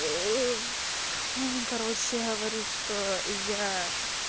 оо короче говорит что я